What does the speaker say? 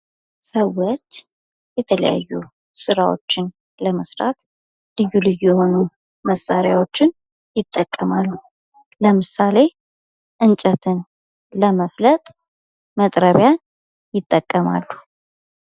ሰዎች የተለያዩ ስራዎችን ለመስራት ልዩ ልዩ የሆኑ መሣሪያዎችን ይጠቀማሉ። ለምሳሌ እንጨትን ለመፍለጥ መጥረቢያ ይጠቀማሉ።